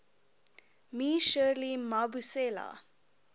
me shirley mabusela